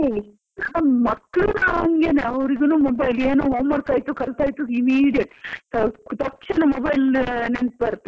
ಆ ಮಕ್ಳುನು ಹಂಗೆನೇ ಅವ್ರಿಗುನು mobile ಏನೋ homework ಆಯ್ತು ಕಲ್ತಾಯಿತು immediate , ತಕ್ಷಣ mobile ನೆನ್ಪ್ ಬರುತ್ತೆ ಅವ್ರಿಗೆ.